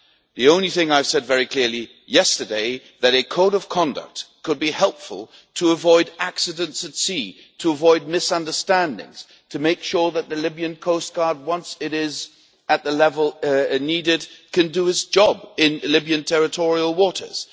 The only thing I have said very clearly yesterday is that a code of conduct could be helpful to avoid accidents at sea, to avoid misunderstandings, to make sure that the Libyan coast guard, once it is at the level needed, can do its job in Libyan territorial waters.